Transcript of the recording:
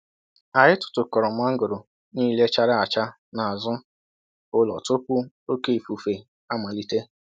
Anyị tụtụkọrọ mangoro niile chara acha n'azụ ụlọ tupu oke ifufe amalite.